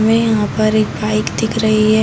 हमें यहाँ पर एक बाइक दिख रही है।